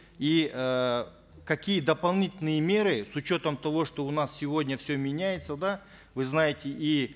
и эээ какие дополнительные меры с учетом того что у нас сегодня все меняется да вы знаете и